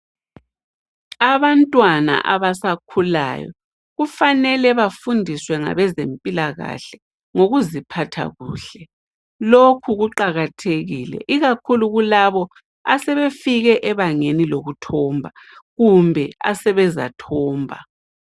Abantwana abasakhulayo kufanele bafundiswe ngabezempilakahle ngokuziphatha kuhle lokhu kuqakathekile ikakhulu kulabo asebefike ebangeni lokuthomba lalabo asebezathomba